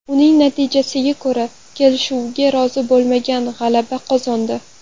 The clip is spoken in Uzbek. Uning natijasiga ko‘ra, kelishuvga rozi bo‘lmaganlar g‘alaba qozondi.